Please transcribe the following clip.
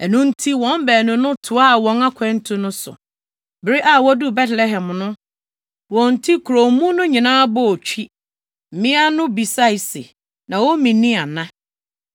Ɛno nti, wɔn baanu no toaa wɔn akwantu no so. Bere a woduu Betlehem no, wɔn nti kurow mu no nyinaa bɔɔ twi. Mmea no bisae se, “Naomi ni ana?”